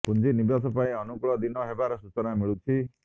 ପୁଞ୍ଜି ନିବେଶ ପାଇଁ ଅନୁକୂଳ ଦିନ ହେବାର ସୂଚନା ମିଳୁଛି